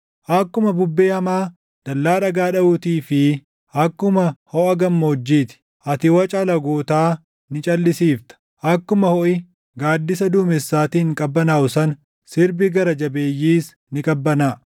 akkuma hoʼa gammoojjii ti. Ati waca alagootaa ni calʼisiifta; akkuma hoʼi gaaddisa duumessaatiin qabbanaaʼu sana, sirbi gara jabeeyyiis ni qabbanaaʼa.